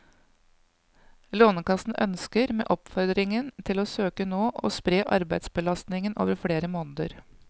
Lånekassen ønsker, med oppfordringen til å søke nå, å spre arbeidsbelastningen over flere måneder.